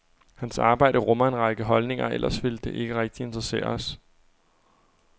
Hans arbejde rummer en række holdninger, ellers ville det ikke rigtig interessere os.